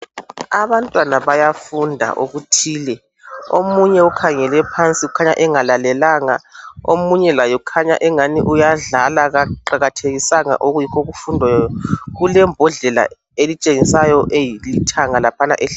Abantwana bayafunda okuthile omunye ukhangela phansi kukhanya engalalenga. Omunye laye ukhanya angani uyadlala kaqakathekisanga okufundwayo. Kulembodlela elitshengiswayo elithanga.